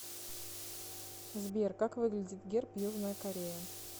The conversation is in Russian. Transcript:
сбер как выглядит герб южная корея